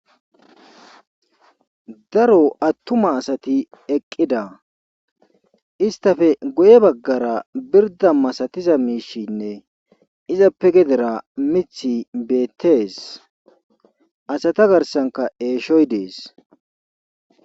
Daro atumma asati eqqida istappe guye bagara birda masatiza miishinne izappe gedera mithi beetees.asata garassnkka eeshoy dees.